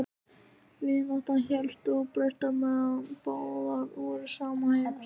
Og vináttan hélst óbreytt meðan báðar voru sama heims.